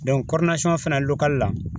fɛnɛ la